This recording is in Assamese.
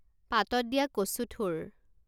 পাতত দিয়া কচুথোৰ